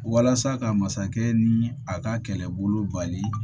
Walasa ka masakɛ ni a ka kɛlɛbolo bali